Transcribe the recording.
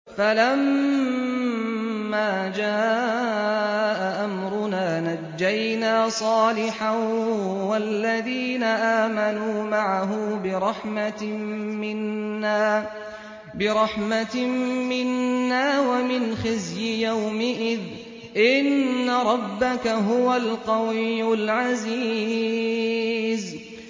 فَلَمَّا جَاءَ أَمْرُنَا نَجَّيْنَا صَالِحًا وَالَّذِينَ آمَنُوا مَعَهُ بِرَحْمَةٍ مِّنَّا وَمِنْ خِزْيِ يَوْمِئِذٍ ۗ إِنَّ رَبَّكَ هُوَ الْقَوِيُّ الْعَزِيزُ